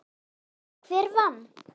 Hver vann?